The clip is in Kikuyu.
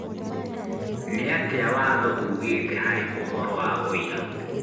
Nĩatia watho ugĩte harĩ ũhoro wa ũira